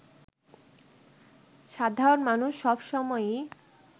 সাধারণ মানুষ সব সময়ই